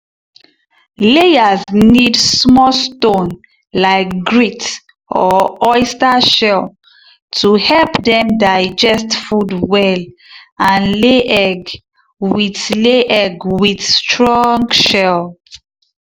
layers need small stone like grit or oyster shell to help dem digest food well and lay egg with lay egg with strong shell.